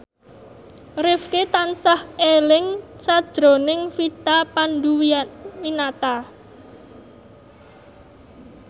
Rifqi tansah eling sakjroning Vina Panduwinata